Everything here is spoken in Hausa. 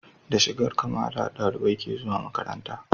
Da shigar Kamala ɗalibai ke zuwa makaranta